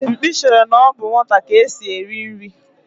Mkpi chere na ọ bụ nwata ka esi eri nri.